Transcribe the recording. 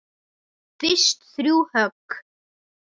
Fyrst þrjú högg.